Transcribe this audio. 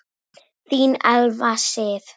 Þín Elfa Sif.